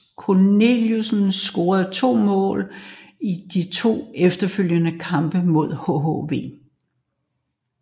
Cornelius scorede to mål i de to efterfølgende kampe mod hhv